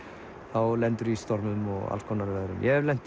þá lendirðu í stormum og allskonar veðrum ég hef lent